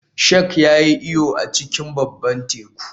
Shark ya yi iyo a cikin babban teku